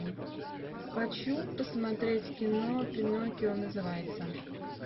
хочу посмотреть кино пиноккио называется